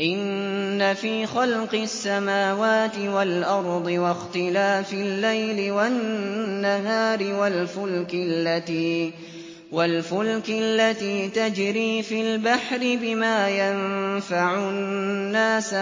إِنَّ فِي خَلْقِ السَّمَاوَاتِ وَالْأَرْضِ وَاخْتِلَافِ اللَّيْلِ وَالنَّهَارِ وَالْفُلْكِ الَّتِي تَجْرِي فِي الْبَحْرِ بِمَا يَنفَعُ النَّاسَ